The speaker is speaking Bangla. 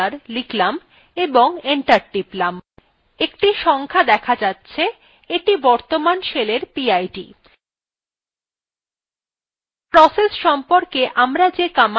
একটি সংখ্যা দেখা যাচ্ছে এইটি বর্তমান শেলের পিআইডি